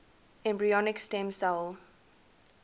embryonic stem cell